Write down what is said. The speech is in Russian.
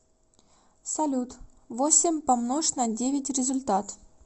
салют восемь помнож на девять результат